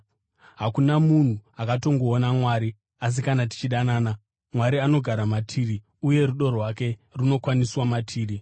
Hakuna munhu akatongoona Mwari; asi kana tichidanana, Mwari anogara matiri, uye rudo rwake runokwaniswa matiri.